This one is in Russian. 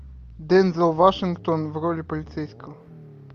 дензел вашингтон в роли полицейского